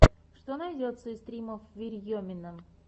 что найдется из стримов верьемина